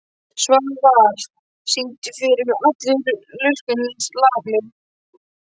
Svafar, syngdu fyrir mig „Allur lurkum laminn“.